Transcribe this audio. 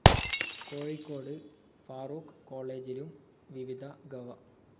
കോഴിക്കോട് ഫാറൂഖ് കോളേജിലും വിവിധ ഗവ.